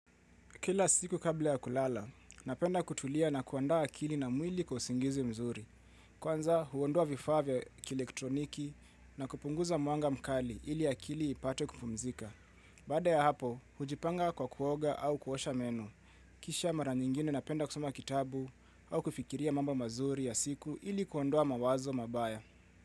Kila siku kabla ya kulala, napenda kutulia na kuandaa akili na mwili kwa usingizi mzuri. Kwanza huondoa vifaa vya kilektroniki na kupunguza muanga mkali ili akili ipate kupumzika. Baada ya hapo, hujipanga kwa kuoga au kuosha menu. Kisha mara nyingine napenda kusoma kitabu au kufikiria mambo mazuri ya siku ili kuondoa mawazo mabaya.